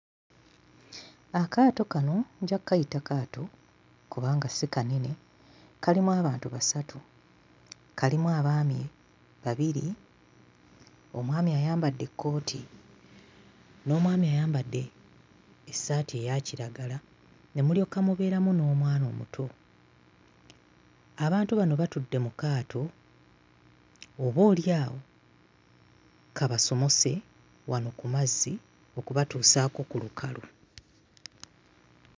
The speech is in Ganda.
Akaato kano nja kkayita kaato kubanga si kanene kalimu abantu basatu kalimu abaami babiri omwami ayambadde ekkooti n'omwami ayambadde essaati eya kiragala ne mulyoka mubeeramu n'omwana omuto. Abantu bano batudde mu kaato boolyawo kabasomose wano ku mazzi okubatuusaako ku lukalu.